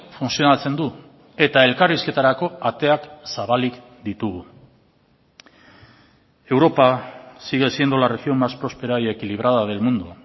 funtzionatzen du eta elkarrizketarako ateak zabalik ditugu europa sigue siendo la región más prospera y equilibrada del mundo